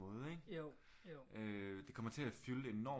Måde ikke øh det kommer til at fylde enormt